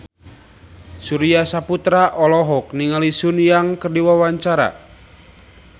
Surya Saputra olohok ningali Sun Yang keur diwawancara